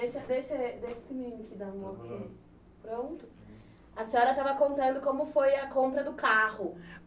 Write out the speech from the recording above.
A senhora estava contando como foi a compra do carro.